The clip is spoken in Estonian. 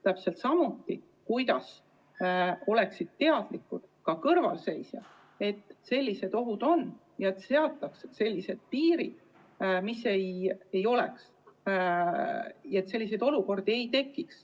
Täpselt samuti, et ka kõrvalseisjad oleksid sellistest ohtudest teadlikud ja et seataks sellised piirid, mis ei laseks sellistel olukordadel tekkida.